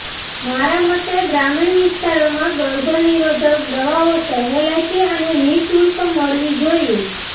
મારા મતે ગ્રામીણ વિસ્તારોમાં ગર્ભનિરોધક દવાઓ સહેલાઇથી અને નિઃશુલ્ક મળવી જોઇએ